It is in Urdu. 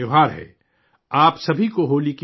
آپ سبھی کو ہولی کی مبارکباد